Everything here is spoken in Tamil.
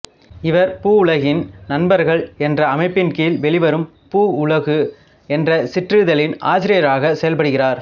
இவர் பூவுலகின் நண்பர்கள் என்ற அமைப்பின் கீழ் வெளிவரும் பூவுலகு என்ற சிற்றிதழின் ஆசிரியராக செயல்படுகிறார்